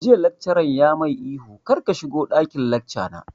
Jiya laccaran ya mai ihu 'kar ka shigo ɗakin lacca na'!